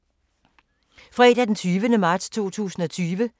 Fredag d. 20. marts 2020